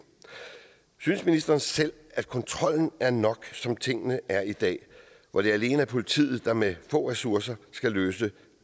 synes ministeren selv at kontrollen er nok som tingene er i dag hvor det alene er politiet der med få ressourcer skal løse